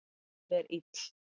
Hún er ill